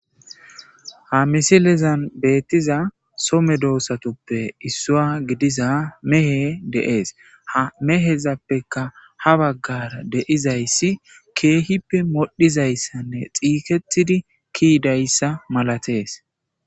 Ha misilezan beettiza some doossatuppe issua gidiza mehe deees ha mehezappeka ha baggara deizayssi keehippe modhizayssanne xiiketidi kiidayssa malatees